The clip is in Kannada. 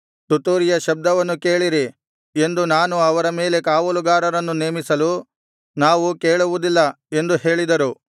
ತುತ್ತೂರಿಯ ಶಬ್ದವನ್ನು ಕೇಳಿರಿ ಎಂದು ನಾನು ಅವರ ಮೇಲೆ ಕಾವಲುಗಾರರನ್ನು ನೇಮಿಸಲು ನಾವು ಕೇಳುವುದಿಲ್ಲ ಎಂದು ಹೇಳಿದರು